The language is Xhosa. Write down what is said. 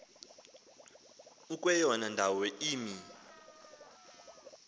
ukweyona ndawo imi